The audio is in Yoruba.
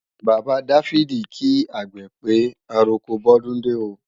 Bàbá Dáfídì kí àgbè pé, àroko bọ́dúndé ó